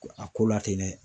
Do a ko la ten nɛ